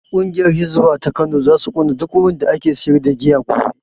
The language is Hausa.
Ƙungiyar hisba ta Kano zasu kona duk wurin da ake sayar da giya gobe